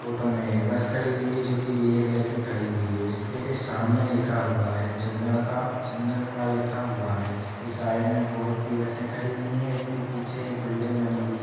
Photo में एक bus खडी हुई है। जो कि नीले कलर कि खडी हुई है। इसके की सामने लिखा हुआ है। चन्दडका चन्दडका लिखा हुआ है। इसके साइड में बहोत सी बसें खड़ी हुई है। इसके पीछे एक बिल्डिंग बनी हुई है।